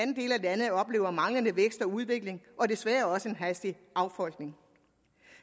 landet oplever manglende vækst og udvikling og desværre også en hastig affolkning